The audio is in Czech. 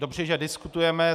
Dobře, že diskutujeme.